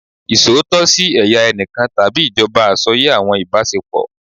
Iṣootọ si ẹya ẹnikan tabi ijọba asọye awọn ibasepo